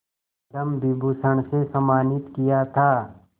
पद्म विभूषण से सम्मानित किया था